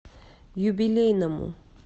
юбилейному